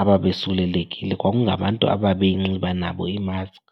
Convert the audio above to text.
ababesulelekile kwakungabantu ababeyinxiba nabo imaskhi.